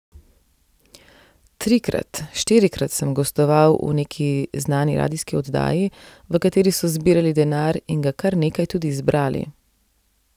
Trikrat, štirikrat sem gostoval v neki znani radijski oddaji, v kateri so zbirali denar in ga kar nekaj tudi zbrali.